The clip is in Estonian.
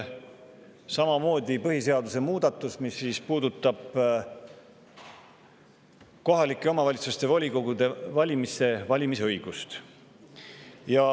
See põhiseaduse muudatus puudutab samuti kohalike omavalitsuste volikogude valimise õigust.